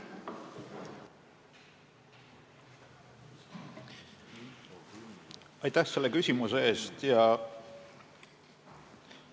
Aitäh selle küsimuse eest!